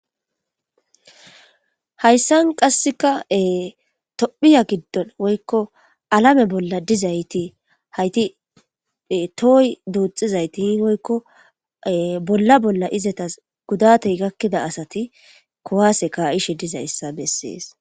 Hayssan qasseka tophiya giddon woykko alame bolla dizayti hayti tooy duuxizayti i woykko bolla bolla izatas gudatey gakkida asati kowase ka7ishe dizayssa bessees.